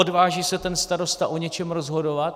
Odváží se ten starosta o něčem rozhodovat?